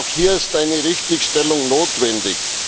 Auch hier ist eine Richtigstellung notwendig.